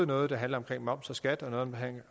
noget der handler om moms og skat og noget